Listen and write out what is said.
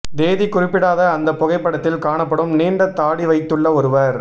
தேதி குறிப்பிடாத அந்த புகைப்படத்தில் காணப்படும் நீண்ட தாடி வைத்துள்ள ஒருவர்